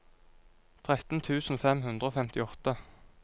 tretten tusen fem hundre og femtiåtte